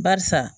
Barisa